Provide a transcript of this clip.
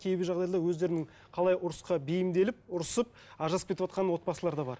кейбір жағдайда өздерінің қалай ұрысқа бейімделіп ұрысып ажырасып кетіватқан отбасылар да бар